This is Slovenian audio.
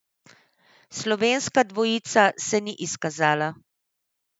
Slovenska dvojica se ni izkazala.